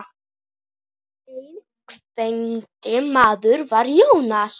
Eyþór, ánægður með þennan lista?